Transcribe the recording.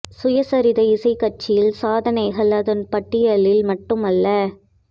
சுயசரிதை இசை காட்சியில் சாதனைகள் அதன் பட்டியலில் மட்டுமே அல்ல